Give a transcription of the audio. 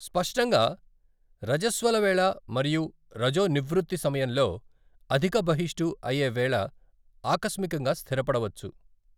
స్పష్టంగా, రజస్వల వేళ మరియు రజోనివృత్తి సమయంలో అధిక బహిష్టు అయే వేళ ఆకస్మికంగా స్థిరపడవచ్చు.